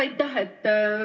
Aitäh!